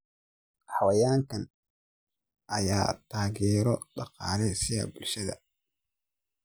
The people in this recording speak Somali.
Xayawaankan ayaa taageero dhaqaale siiya bulshada.